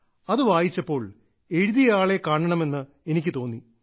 അതു വായിച്ചപ്പോൾ എഴുതിയ ആളെ കാണണമെന്ന് എനിക്ക് തോന്നി